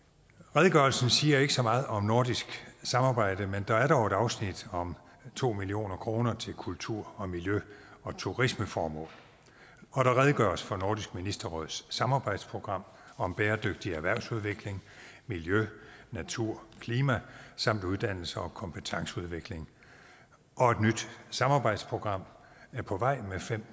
redegørelsen siger ikke så meget om nordisk samarbejde men der er dog et afsnit om to million kroner til kultur og miljø og turismeformål og der redegøres for nordisk ministerråds samarbejdsprogram om bæredygtig erhvervsudvikling miljø natur og klima samt uddannelse og kompetenceudvikling og et nyt samarbejdsprogram er på vej med